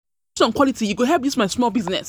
quality, e go help dis my small business.